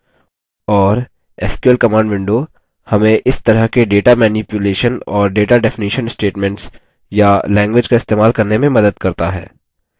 और sql command window हमें इस तरह के data मैनिप्युलेशन और data definition statements या language का इस्तेमाल करने में मदद करता है